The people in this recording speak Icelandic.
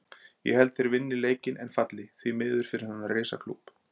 Ég held að þeir vinni leikinn en falli, því miður fyrir þennan risa klúbb.